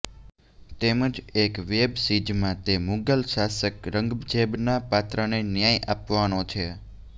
તેમ જ એક વેબ સિીઝમા તે મુગલ શાસક રંગઝેબના પાત્રને ન્યાય આપવાનો છે